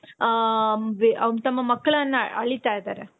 ಹ ತಮ್ಮ ಮಕ್ಕಳನ್ನ ಅಳಿತಾ ಇದಾರೆ.